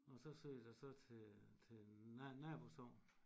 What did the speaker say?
Og så søgte jeg så til til nabosogn